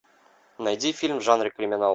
найди фильм в жанре криминал